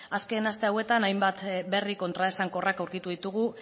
azken aste hauetan hainbat berri kontraesankorrak aurkitu ditugu